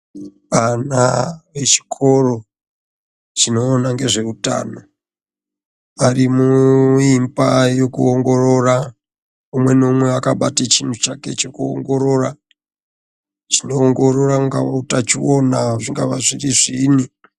Ana echikoro chinoona ngezveutano ari muimba yekuongorora umwe naumwe wakabata chinhu chake chekuongorora chinoongorora unga utachiona zvingava zviri zviini.